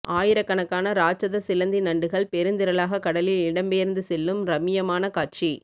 ஆயிரக்கணக்கான ராட்சத சிலந்தி நண்டுகள் பெருந்திரளாக கடலில் இடம்பெயர்த்து செல்லும் ரம்மியமான காட்சி